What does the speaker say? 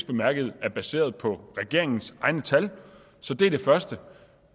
bemærket er baseret på regeringens egne tal så det er det første